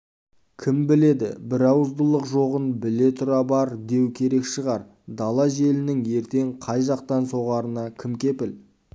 кім біледі бірауыздылық жоғын біле-тұра бар деу керек шығар дала желінің ертең қай жақтан соғарына кім кепіл